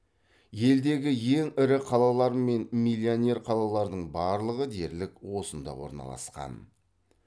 елдегі ең ірі қалалар мен миллионер қалалардың барлығы дерлік осында орналасқан